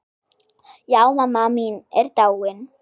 Já, mamma mín er dáin.